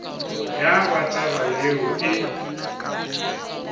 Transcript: ya ba taba yeo e